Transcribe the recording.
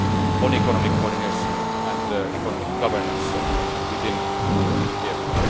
on economic coordination and economic governance within the euro area.